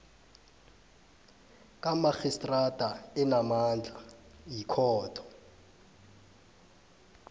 kamarhistrada enamandla yikhotho